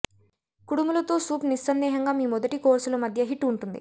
కుడుములు తో సూప్ నిస్సందేహంగా మీ మొదటి కోర్సులు మధ్య హిట్ ఉంటుంది